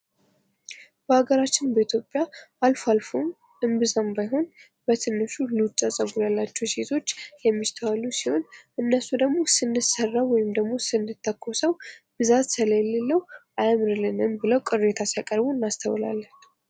በሀገራችን በኢትዮጵያ አልፎ አልፎም እምብዛም ባይሆን በትንሹ ሉጫ ጸጉር ያላቸው ሴቶች የሚስተዋሉ ሲሆን፤ እነሱ ደግሞ ስንሠራ ወይም ደግሞ ስንተኮሰው ብዛት ስለሌለው አያምርልንም ብለው ቅሬታ ሲያቀርቡ እናስተውላለን።